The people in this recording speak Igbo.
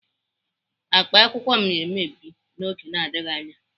Akpa akwụkwọ m ga-emebi n'oge na-adịghị anya.